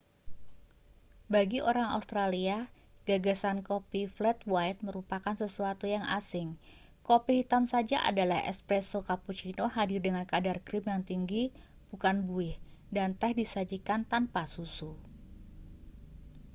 bagi orang australia gagasan kopi 'flat white' merupakan sesuatu yang asing. kopi hitam saja adalah 'espresso' cappuccino hadir dengan kadar krim yang tinggi bukan buih dan teh disajikan tanpa susu